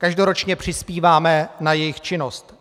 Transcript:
Každoročně přispíváme na jejich činnost.